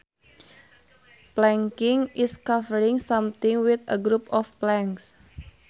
Planking is covering something with a group of planks